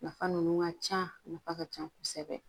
Nafa ninnu ka can a nafa ka can kosɛbɛ